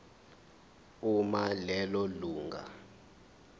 uma lelo lunga